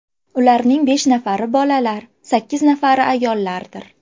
Ularning besh nafari bolalar, sakkiz nafari ayollardir.